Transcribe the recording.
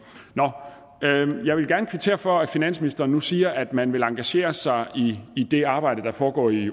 nå jeg vil gerne kvittere for at finansministeren nu siger at man vil engagere sig i det arbejde der foregår i